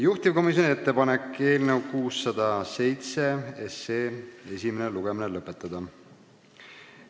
Juhtivkomisjoni ettepanek on eelnõu 607 esimene lugemine lõpetada.